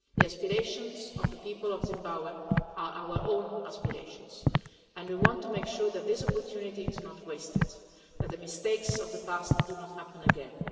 The aspirations of the people of Zimbabwe are our own aspirations and we want to make sure that this opportunity is not wasted and that the mistakes of the past do not happen again.